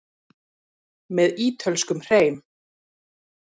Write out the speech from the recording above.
Með ítölskum hreim.